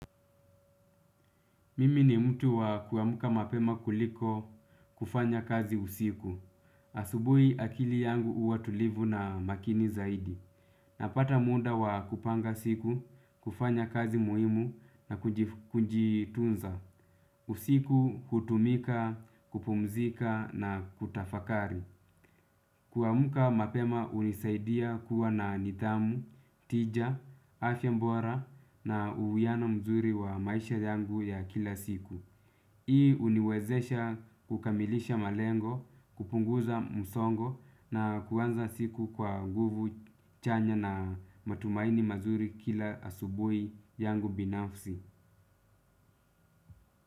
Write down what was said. Mimi ni mtu wa kuamka mapema kuliko kufanya kazi usiku. Asubuhi akili yangu huwa tulivu na makini zaidi. Napata muda wa kupanga siku, kufanya kazi muhimu na kujitunza. Usiku hutumika, kupumzika na kutafakari. Kuamka mapema hunisaidia kuwa na nidhamu, tija, afya bora na uwiano mzuri wa maisha yangu ya kila siku. Hii huniwezesha kukamilisha malengo, kupunguza msongo na kuanza siku kwa nguvu chanya na matumaini mazuri kila asubuhi yangu binafsi.